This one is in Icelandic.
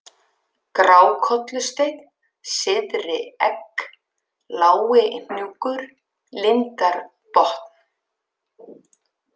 Grákollusteinn, Syðri-Egg, Lágihnúkur, Lindarbotn